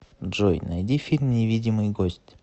джой найди фильм невидимый гость